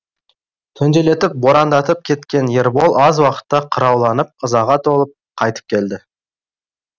түнделетіп борандатып кеткен ербол аз уақытта қырауланып ызаға толып қайтып келді